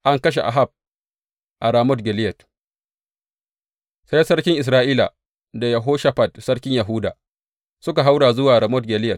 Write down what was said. An kashe Ahab a Ramot Gileyad Sai sarkin Isra’ila da Yehoshafat sarkin Yahuda suka haura zuwa Ramot Gileyad.